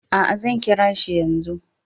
A'a, zan kira shi yanzu.